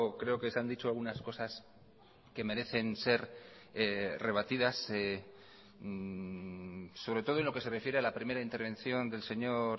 creo que se han dicho algunas cosas que merecen ser rebatidas sobre todo en lo que se refiere a la primera intervención del señor